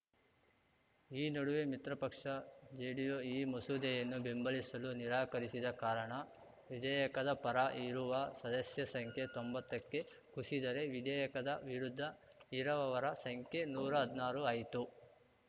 ಈ ನಡುವೆ ಮಿತ್ರಪಕ್ಷ ಜೆಡಿಯು ಈ ಮಸೂದೆಯನ್ನು ಬೆಂಬಲಿಸಲು ನಿರಾಕರಿಸಿದ ಕಾರಣ ವಿಧೇಯಕದ ಪರ ಇರುವ ಸದಸ್ಯರ ಸಂಖ್ಯೆ ತೊಂಬತ್ತಕ್ಕೆ ಕುಸಿದರೆ ವಿಧೇಯಕದ ವಿರುದ್ಧ ಇರವವರ ಸಂಖ್ಯೆ ನೂರಾ ಹದ್ನಾರು ಆಯಿತು